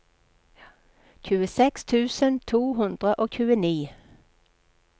tjueseks tusen to hundre og tjueni